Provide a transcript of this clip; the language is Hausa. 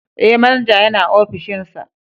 Eh manaja yana opishinsa.